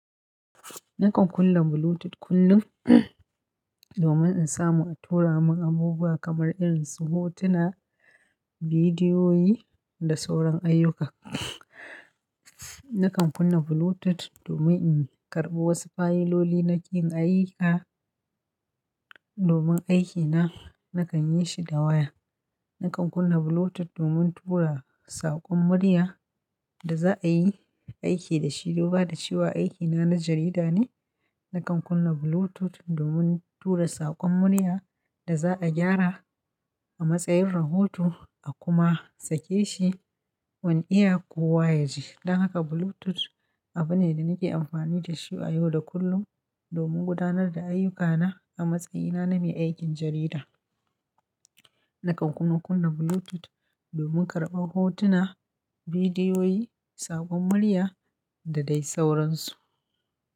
Nakan kunna Bluetooth kullum domin in samu a tura mun abubuwa kamar irin su hotuna, bidiyoyi da sauran ayyuka. Nakan kunna Bluetooth domin in karɓa wasu fayiloli nake yin ayika domin aikina nakan yi shi da waya. Nakan kunna Bluetooth domin tura saƙon murya da za a yi aiki da shi. Duba da cewa aiki na na jarida ne, nakan kunna Bluetooth domin tura saƙon murya da za a gyara a matsayin rahoto a kuma sake shi wanne iya kuwa ya ji. Don haka Bluetooth abu ne da nake amfani da shi a yau da kullum domin gudanar da ayyuka na a matsayina na mai aikin jarida. Nakan kuma kunna Bluetooth domin karɓar hotuna, bidiyoyi, saƙon muaya da dai sauran su.